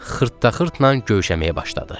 Xırta-xırtnan gövşəməyə başladı.